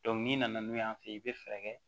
n'i nana n'u y'an fɛ yen i bɛ fɛɛrɛ kɛ